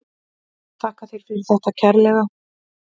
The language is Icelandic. Þakka þér fyrir þetta kærlega.